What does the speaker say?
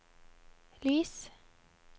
lys